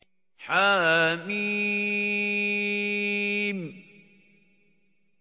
حم